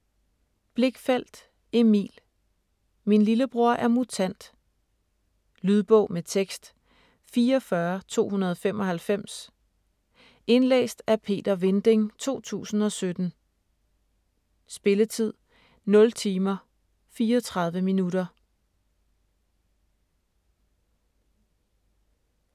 Blichfeldt, Emil: Min lillebror er mutant Lydbog med tekst 44295 Indlæst af Peter Vinding, 2017. Spilletid: 0 timer, 34 minutter.